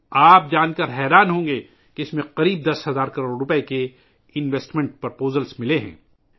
آپ کو یہ جان کر حیرت ہوگی کہ اس میں تقریباً دس ہزار کروڑ روپئے کی سرمایہ کاری کی تجاویز موصول ہوئی ہیں